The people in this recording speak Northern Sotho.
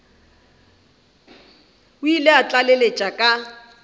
o ile a tlaleletša ka